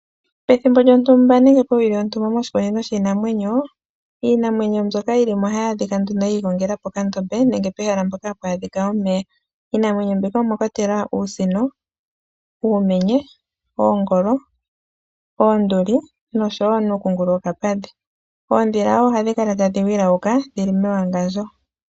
Pethimbo lyontumba nenge powili yontumba moshikunino shiinamwenyo, iinamwenyo mbyoka yi li ohayi adhika nduno yi igongela pokandombe nenge pehala mpoka hapu monika omeya. Iinamwenyo mbika omwa kwatelwa Uusino, Uumenye, Oongolo, Oonduli nosho wo ooNuukungulu wokapadhi. Oondhila wo ohadhi kala tadhi wilauka dhi li mewangandjo.